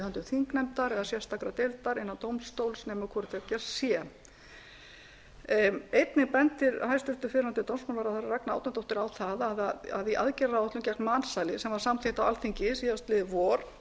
þingnefndar eða sérstakrar deildar innan dómstóls nema hvort tveggja sé einnig bendir hæstvirtur fyrrverandi dómsmálaráðherra ragna árnadóttir á það að í aðgerðaráætlun gegn mansali sem var samþykkt á alþingi síðastliðið vor